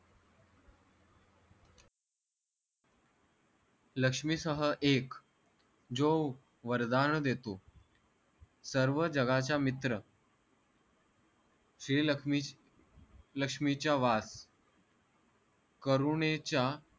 लक्ष्मी सह एक जो वरदान देतो सर्व जगाचा मित्र श्री लक्ष्मी लक्ष्मीचा वार करुणेचा